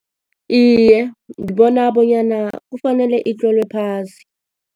Iye, ngibona bonyana kufanele itlolwe phasi.